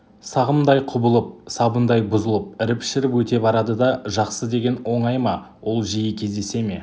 сағымдай құбылып сабындай бұзылып іріп-шіріп өте барады да жақсы деген оңай ма ол жиі кездесе ме